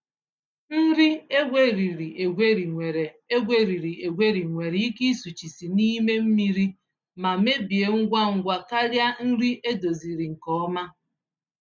Nri egweriri-egweri nwere egweriri-egweri nwere ike ịsụchisi n'ime mmiri ma mebie ngwa ngwa karịa nri edoziziri nke ọma.